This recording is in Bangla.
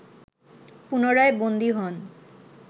পুনরায় বন্দী হন